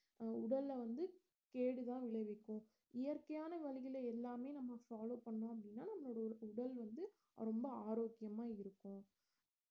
உடல வந்து கேடு தான் விளைவிக்கும் இயற்கையான வழிகளை எல்லாமே follow பண்ண நம்மளோட உ~ உடல் வந்து ரொம்ப ஆரோக்கியமா இருக்கும்